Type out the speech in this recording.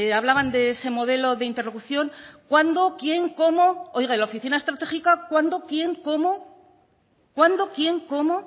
hablaban de ese modelo de interlocución cuándo quién cómo oiga en la oficina estratégica cuándo quién cómo cuándo quién cómo